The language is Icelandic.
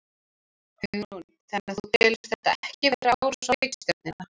Hugrún: Þannig þú telur þetta ekki vera árás á ríkisstjórnina?